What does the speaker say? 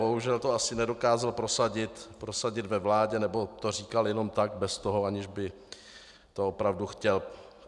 Bohužel to asi nedokázal prosadit ve vládě, nebo to říkal jenom tak bez toho, aniž by to opravdu chtěl.